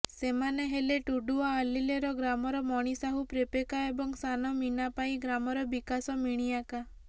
ସେମାନେ ହେଲେ ଟୁଡୁଆଲେଲେର ଗ୍ରାମର ମଣି ସାହୁ ପ୍ରେପେକା ଏବଂ ସାନ ମୀନାପାଈ ଗ୍ରାମର ବିକାଶ ମିଣିଆକା